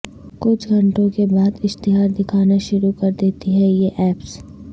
کچھ گھنٹوں کے بعد اشتہار دکھانا شروع کردیتی ہیں یہ ایپس